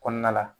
Kɔnɔna la